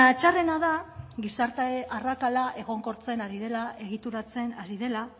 txarrena da gizarte arrakala egonkortzen ari dela egituratzen ari dela